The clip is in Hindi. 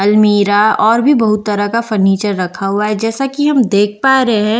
अलमीरा और भी बहुत तरह का फर्नीचर रखा हुआ है जैसा कि हम देख पा रहे है।